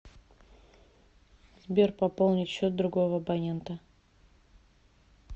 сбер пополнить счет другого абонента